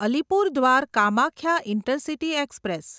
Alipurduar Kamakhya intercity express